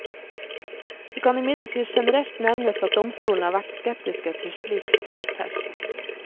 Det kan imidlertid generelt nevnes at domstolene har vært skeptiske til slik selvtekt.